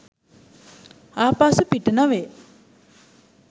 ආපසු පිට නොවේ.